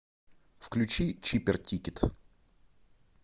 включи чипер тикет